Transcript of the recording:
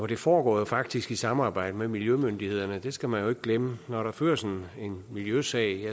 det foregår faktisk i samarbejde med miljømyndighederne det skal man jo ikke glemme når der føres en miljøsag